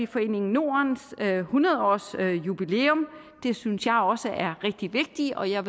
foreningen nordens hundrede årsjubilæum det synes jeg også er rigtig vigtigt og jeg